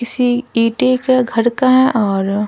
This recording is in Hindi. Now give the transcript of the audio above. किसी ईटे घर का है और --